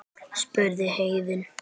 spurði Héðinn.